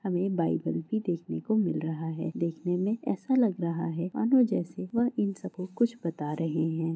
हमें बाइबल भी देखने को मिल रहा है देखने में ऐसा लग रहा है मानो जैसे वह इन सबको कुछ बता रहे हैं।